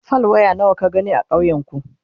fal. waya nawa ka gani a ƙauyen ku?